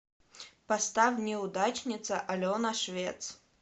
поставь неудачница алена швец